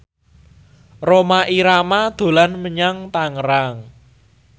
Rhoma Irama dolan menyang Tangerang